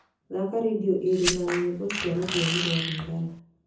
thaaka rĩndiũ ĩrĩ na nyĩmbo cia rũthiomi rwa lingala